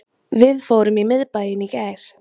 Við fórum í miðbæinn í gær